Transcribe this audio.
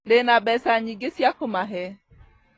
Ndĩna mbeca nyingĩ cia kũmahe